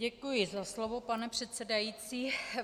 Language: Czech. Děkuji za slovo, pane předsedající.